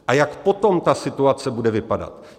A jak potom ta situace bude vypadat?